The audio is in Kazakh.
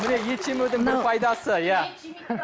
міне ет жемеудің бір пайдасы иә